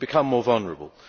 We become more vulnerable.